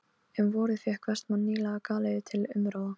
Um vorið fékk Vestmann nýlega galeiðu til umráða.